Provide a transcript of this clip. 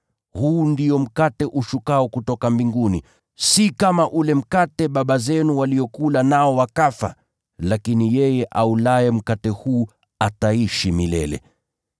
Huu ndio mkate ushukao kutoka mbinguni, si kama ule mkate baba zenu waliokula nao wakafa. Lakini yeye aulaye mkate huu ataishi milele.”